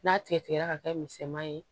N'a tigɛ tigɛra ka kɛ misɛnman ye